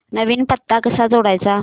नवीन पत्ता कसा जोडायचा